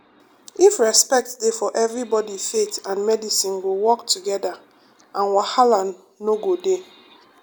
if respect dey for everybody faith and medicine go work together and wahala no go dey.